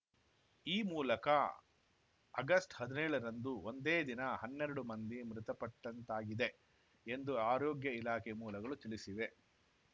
ಈ ಮೂಲಕ ಅಗಸ್ಟ್ ಹದಿನೇಳರಂದು ಒಂದೇ ದಿನ ಹನ್ನೆರಡು ಮಂದಿ ಮೃತಪಟ್ಟಂತಾಗಿದೆ ಎಂದು ಆರೋಗ್ಯ ಇಲಾಖೆ ಮೂಲಗಳು ತಿಳಿಸಿವೆ